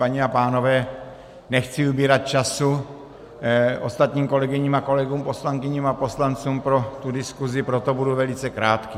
Paní a pánové, nechci ubírat času ostatním kolegyním a kolegům, poslankyním a poslancům pro tu diskusi, proto budu velice krátký.